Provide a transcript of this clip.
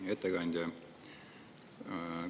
Hea ettekandja!